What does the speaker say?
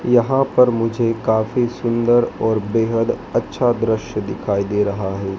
यहां पर मुझे काफी सुंदर और बेहद अच्छा दृश्य दिखाई दे रहा है।